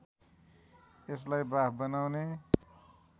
यसलाई बाफ बनाउने